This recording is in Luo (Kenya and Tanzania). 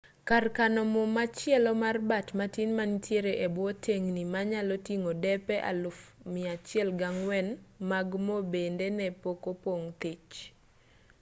kar kano mo machielo mar bat-matin manitiere e bwo tengni manyalo ting'o depe 104,000 mag mo bende ne pok opong' thich